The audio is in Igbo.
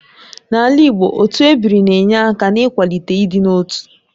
N'ala Igbo, otu ebiri na-enye aka n'ịkwalite ịdị n'otu